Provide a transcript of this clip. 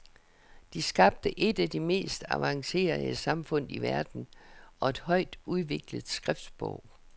De skabte et af de mest avancerede samfund i verden og et højt udviklet skriftsprog.